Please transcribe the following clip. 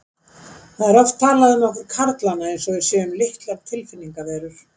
Það er oft talað um okkur karlana eins og við séum litlar tilfinningaverur.